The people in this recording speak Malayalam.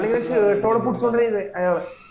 അല്ലേല് shirt ഓടെ കുത്തോ ചെയ്ത അയാള